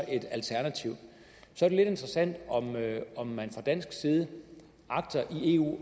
et alternativ så er det lidt interessant om man fra dansk side i eu